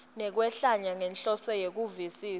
nekwehlwaya ngenhloso yekuvisisa